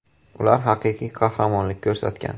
Ular haqiqiy qahramonlik ko‘rsatgan.